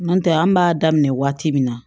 N'o tɛ an b'a daminɛ waati min na